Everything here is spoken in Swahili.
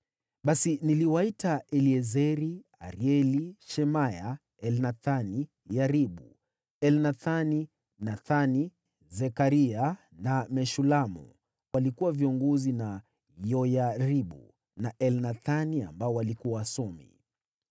Basi niliwaita Eliezeri, Arieli, Shemaya, Elnathani, Yaribu, Elnathani, Nathani, Zekaria na Meshulamu waliokuwa viongozi na Yoyaribu na Elnathani waliokuwa wasomi,